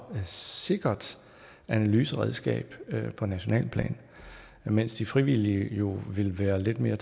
mere sikkert analyseredskab på nationalt plan mens de frivillige jo vil være lidt mere